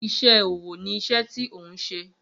Iṣẹ́ ọwọ́ ni iṣẹ́ tí ò ń ṣe